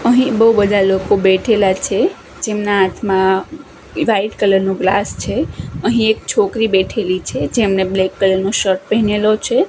અહીં બો બધા લોકો બેઠેલા છે જેમના હાથમાં વ્હાઈટ કલર નુ ગ્લાસ છે અહીં એક છોકરી બેઠેલી છે જેમણે બ્લેક કલર નો શર્ટ પહેરેલો છે.